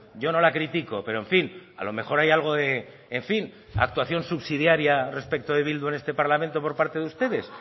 yo no la critico pero en fin a lo mejor hay algo de en fin actuación subsidiaria respecto de bildu en este parlamento por parte de ustedes